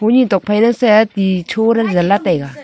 tee tok phai le set te choo le ngan la taiga.